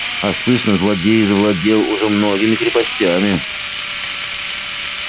а слышно злодей завладел уже многими крепостями